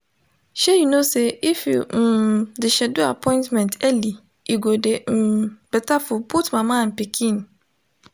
shey you know say if you um de schedule appointment early e go de um better for both mama and pikin